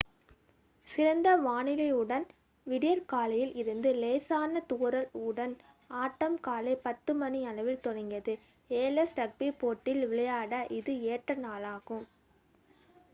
சிறந்த வானிலையுடன் விடியற் காலையில் இருந்த லேசான தூறல் உடன் ஆட்டம் காலை 10:00 மணி அளவில் தொடங்கியது 7's ரக்பி போட்டியில் விளையாட இது ஏற்ற நாளாகும்